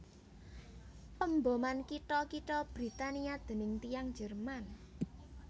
Pemboman kitha kitha Britania déning tiyang Jerman